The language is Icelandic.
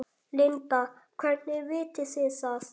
Linda: Hvernig vitið þið það?